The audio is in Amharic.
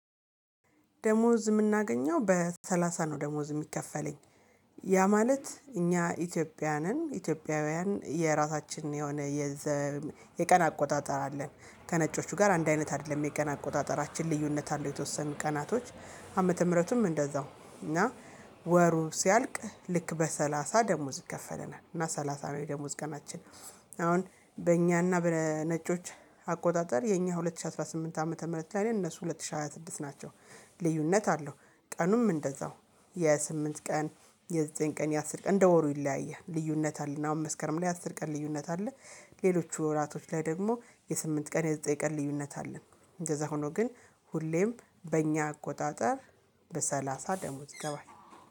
ደሞዝ የምናገኘው በሰላሳ ነው። ደሞዝ የሚከፈለኝ ያ ማለት እኛ ኢትዮጵያንን ኢትዮጵያውያን የራሳችን የሆነ። የቀን አቆጣጠር አለን ከነጮቹ ጋር አንድ አይነት አይደለም የቀን አቆጣጠራችን ልዩነት አለው። የተወሰኑ ቀናቶች ዓመተ ምህረቱም እንደዛው እና ወሩ ሲያልቅ ልክ በሰላሳ ደሞዝ ይከፈለናል። በሰላሳ የደሞዝ ቀናችን። አሁን በእኛና በነጮች አቆጣጠር የኛ ሁለት ሺህ አስራ ስምንት ዓመተ ምህረት ላይ ነን። እነሱ ሁለት ሺህ ሃያ ስድስት ናቸው። ልዩነት አለው። ቀኑም እንደዛው የስምንት ቀን የዘጠኝ ቀን የአሰር ቀን እንደ ወሩ ይለያያል። ልዩነት አለና አሁን መስከረም ላይ አስር ቀን ልዩነት አለ። ሌሎች ወራቶች ላይ ደግሞ የስምንት ቀን የሰጠኝ ቀን ልዩነት አለን። እንደዛ ሆኖ ግን ሁሌም በእኛ አቆጣጠር በሰላሳ ደሞዝ ይገባል